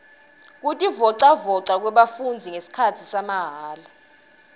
kutivolavoca kwebafundzi ngesikhatsi samahala